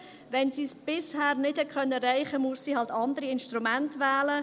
Wenn sie es bisher nicht erreichen konnte, dann muss sie eben andere Instrumente wählen.